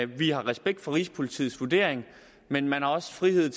vi har respekt for rigspolitiets vurdering men man har også frihed